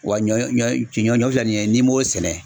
Wa ɲɔ ɲɔ filɛ nin ye n'i m'o sɛnɛ